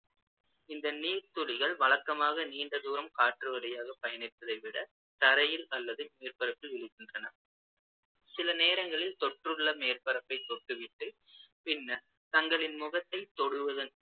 இந்த நீர்த்துளிகள் வழக்கமாக நீண்ட தூரம் காற்று வழியாக பயணிப்பதை விட தரையில் அல்லது மேற்பரப்பில் விழுகின்றன சில நேரங்களில் தொற்றுள்ள மேற்பரப்பைத் தொட்டுவிட்டு, பின்னர் தங்களின் முகத்தைத் தொடுவதன்